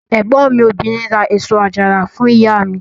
Ẹ̀gbọ́n mi obìnrin ra èso àjàrà fún ìyá mi.